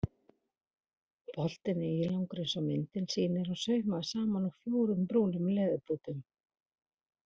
Boltinn er ílangur eins og myndin sýnir og saumaður saman úr fjórum brúnum leðurbútum.